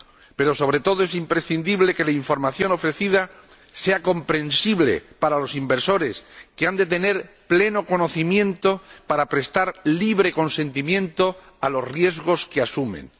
Pero, sobre todo, es imprescindible que la información ofrecida sea comprensible para los inversores, que han de tener pleno conocimiento para prestar libre consentimiento a los riesgos que asumen.